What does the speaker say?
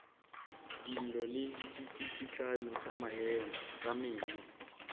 dillo le ditsikitlano tša meno